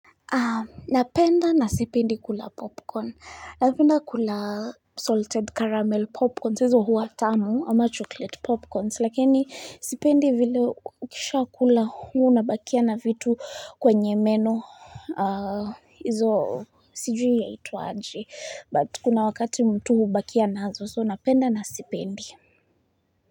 Napenda na sipendi kula popcorn. Napenda kula salted caramel popcorns. Hizo hua tamu ama chocolate popcorns. Lakini sipendi vile ukishakula huwa unabakia na vitu kwenye meno hizo sijui yaitwaje. But kuna wakati mtu hubakia nazo. So napenda na sipendi.